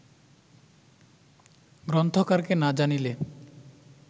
গ্রন্থকারকে না জানিলে